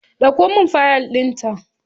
Ɗauko min fiyal din ta